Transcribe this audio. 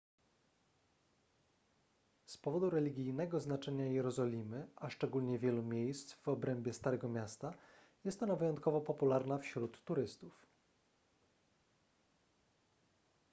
z powodu religijnego znaczenia jerozolimy a szczególnie wielu miejsc w obrębie starego miasta jest ona wyjątkowo popularna wśród turystów